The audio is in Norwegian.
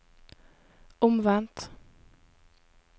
omvendt